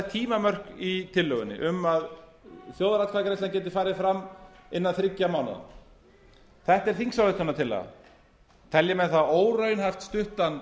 tímamörk í tillögunni um að þjóðaratkvæðagreiðslan geti farið fram innan þriggja mánaða þetta er þingsályktunartillaga telji menn það óraunhæft stuttan